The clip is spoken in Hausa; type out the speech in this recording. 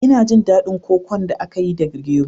Ina jin daɗin kokon da aka yi da gero